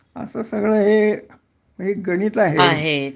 असं सगळं हे एक गणित आहे